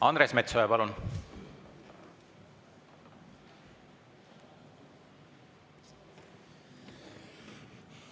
Andres Metsoja, palun!